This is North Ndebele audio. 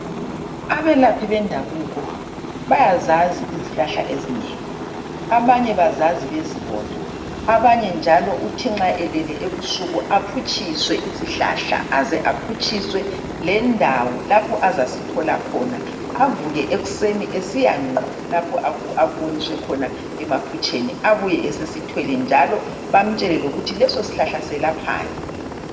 Abelaphi bendabuko bayazazi izihlahla ezinengi , abanye bazazi bezibona , abanye njalo uthi nxa elele ebusuku aphutshiswe isihlahla aze aphutshiswe lendawo lapho azasithola khona avuke ekuseni esiya ngqo lapho akuboniswe khona emaphutshweni abuye esisithwele njalo bamtshele lokuthi leso sihlahla selaphani.